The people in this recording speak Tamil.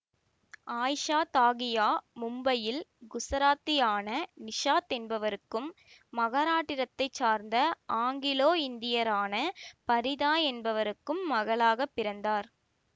ஆயிசா தாகியா மும்பையில் குசராத்தியான நிசித் என்பவருக்கும் மகாராட்டிரத்தை சார்ந்த ஆங்கிலோ இந்தியரான பரிதா ஆகியோருக்கு மகளாகப் பிறந்தார்